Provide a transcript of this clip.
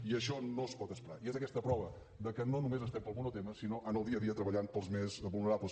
i això no es pot esperar i és aquesta prova de que no només estem pel monotema sinó en el dia a dia treballant pels més vulnerables